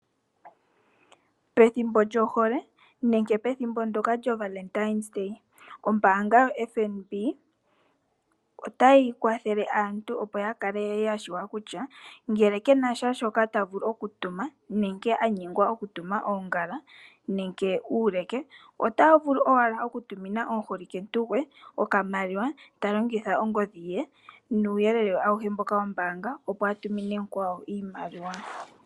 Esiku lyoka hali dhanwa kehe omvula ano lyohole, ombaanga ndjoka yotango yopashigwana otayi tseyithile aantu kutya uuna yanyengwa kutya otaya tumine ngiini aaholike yawo oongala noshoo woo uuleke mesiku ndyoka otaya vula ashike oku ya tumina oshimaliwa taya longitha oongodhi dhowa dhoka dhakwatakanitwa nokambo ke hoka kombaanga.